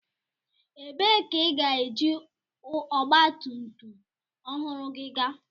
Ebee ka ị ga-eji ọgba tum tum ọhụrụ gị gaa?